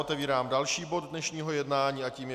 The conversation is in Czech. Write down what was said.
Otevírám další bod dnešního jednání a tím je